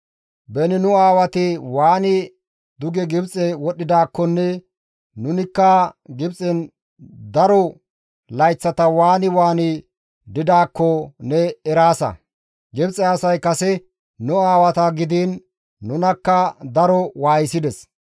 Beni nu aawati waani duge Gibxe wodhdhidaakkonne nunikka Gibxen daro layththata waani waani didaakko ne eraasa; Gibxe asay kase nu aawata gidiin nunakka daro waayisides.